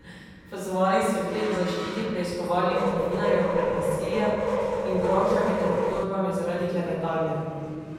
Pozvali so jih tudi k zaščiti preiskovalnih novinarjev pred nasiljem in grožnjami ter obtožbami zaradi klevetanja.